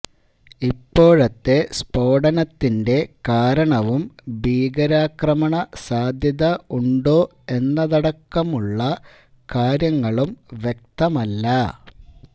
ഇപ്പോഴത്തെ സ്ഫോടനത്തിന്റെ കാരണവും ഭീകരാക്രമണ സാധ്യത ഉണ്ടോ എന്നതടക്കമുള്ള കാര്യങ്ങളും വ്യക്തമല്ല